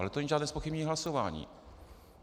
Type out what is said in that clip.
Ale to není žádné zpochybnění hlasování.